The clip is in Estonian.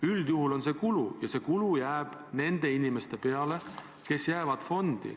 Üldjuhul on see kulu ja see kulu jääb nende inimeste peale, kes jäävad fondi.